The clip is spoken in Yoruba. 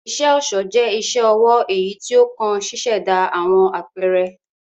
Iṣẹ-ọṣọ jẹ̀ iṣẹ-ọwọ eyí tí o kàn ṣiṣẹda awọn apẹrẹ